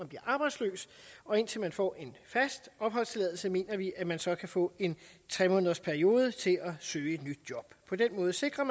bliver arbejdsløs og indtil man får en fast opholdstilladelse mener vi at man så kan få en tre månedersperiode til at søge et nyt job på den måde sikrer